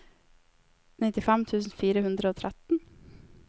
nittifem tusen fire hundre og tretten